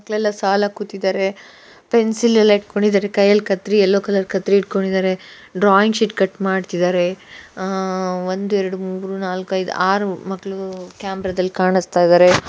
ಎಲ್ಲಾ ಸಾಲಾಗಿ ಕೂತಿದ್ದಾರೆ ಪೆನ್ಸಿಲ್ ಎಲ್ಲಾ ಇಟ್ಕೊಂಡಿದ್ದರೆ ಕೈಯಲ್ಲಿ ಕತ್ತರಿ ಎಲ್ಲೋ ಕಲರ್ ಕತ್ತರಿ ಇಟ್ಕೊಂಡಿದರೆ ಡ್ರಾಯಿಂಗ್ ಶೀಟ್ ಕಟ್ ಮಾಡ್ತಿ ದಾರೆ ಆಹ್ ಆಹ್ ಆಹ್ ಒಂದ್ ಎರಡ್ ಮೂರು ನಾಲ್ಕ ಐದ್ ಆರು ಮಕ್ಳು ಕ್ಯಾಮರಾ ದಲ್ ಕಾಣಿಸ್ತಾ ಇದಾರೆ.